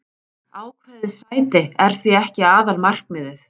Ákveðið sæti er því ekki aðalmarkmiðið.